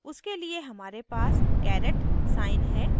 उसके लिए हमारे पास caret साइन है